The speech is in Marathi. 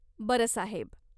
बरं साहेब.